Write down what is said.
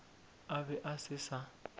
a be a se sa